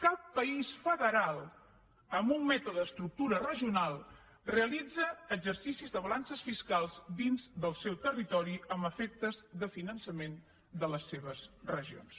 cap país federal amb un mètode d’estructura regional realitza exercicis de balances fiscals dins del seu territori amb efectes de finançament de les seves regions